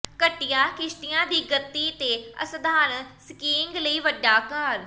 ਘਟੀਆਂ ਕਿਸ਼ਤੀਆਂ ਦੀ ਗਤੀ ਤੇ ਅਸਧਾਰਨ ਸਕੀਇੰਗ ਲਈ ਵੱਡਾ ਆਕਾਰ